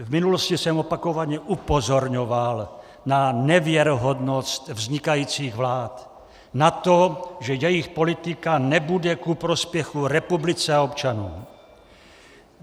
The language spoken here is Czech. V minulosti jsem opakovaně upozorňoval na nevěrohodnost vznikajících vlád, na to, že jejich politika nebude ku prospěchu republice a občanům.